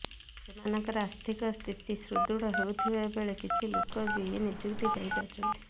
ସେମାନଙ୍କ ଆର୍ଥିକ ସ୍ଥିତି ସୁଦୃଢ ହେଉଥିବା ବେଳେ କିଛି ଲୋକ ବି ନିଯୁକ୍ତି ପାଇ ପାରୁଛନ୍ତି